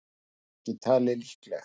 Það er ekki talið líklegt.